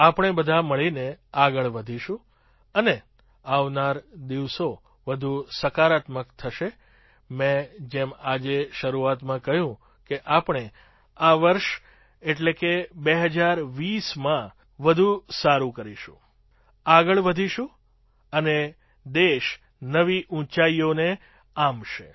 આપણે બધાં મળીને આગળ વધીશું અને આવનારા દિવસો વધુ સકારાત્મક થશે મેં જેમ આજે શરૂઆતમાં કહ્યું કે આપણે આ વર્ષ એટલે કે ૨૦૨૦માં જ વધુ સારું કરીશું આગળ વધીશું અને દેશ નવી ઊંચાઈઓને આંબશે